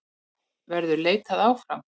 Verður leitað áfram?